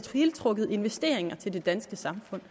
trukket investeringer til det danske samfund